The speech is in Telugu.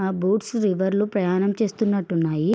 ఆ బోట్స్ రివర్ లో ప్రయాణం చేస్తునట్టు ఉన్నాయి.